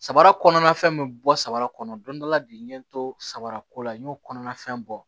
Samara kɔnɔna fɛn min bɛ bɔ samara kɔnɔ don dɔ la bi n ye n to samara ko la n y'o kɔnɔna fɛn bɔ